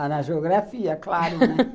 Ah, na geografia, claro, né?